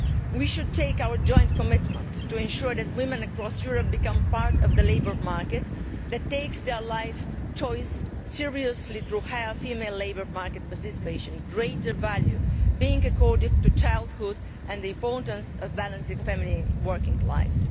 We should make our joint commitment to ensuring that women across Europe become part of the labour market and that their life choice is taken seriously through higher female labour market participation, with greater value being accorded to childhood and the importance of balancing family and working life.